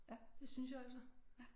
Det synes jeg altså